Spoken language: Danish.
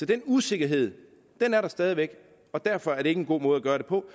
den usikkerhed er der stadig væk og derfor er det ikke en god måde gøre det på